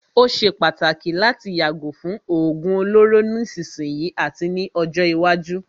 Ó ṣé pàtàkì láti yàgò fún òógún olóró nísìsiyìí àti ní ọjọ́ iwájú.